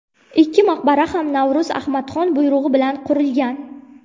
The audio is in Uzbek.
Ikki maqbara ham Navro‘z Ahmadxon buyrug‘i bilan qurilgan.